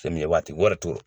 Fɛn min ye , wa te wari to.